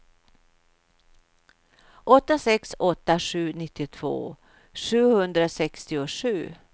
åtta sex åtta sju nittiotvå sjuhundrasextiosju